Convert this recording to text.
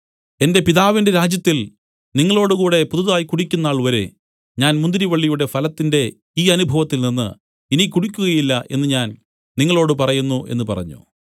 എന്റെ പിതാവിന്റെ രാജ്യത്തിൽ നിങ്ങളോടുകൂടെ പുതുതായി കുടിക്കുംനാൾവരെ ഞാൻ മുന്തിരിവള്ളിയുടെ ഫലത്തിന്റെ ഈ അനുഭവത്തിൽ നിന്നു ഇനി കുടിക്കുകയില്ല എന്നു ഞാൻ നിങ്ങളോടു പറയുന്നു എന്നു പറഞ്ഞു